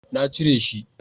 na cire shi